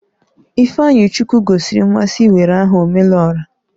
Ifeanyichukwu gosiri mmasị iwere aha "Omelora"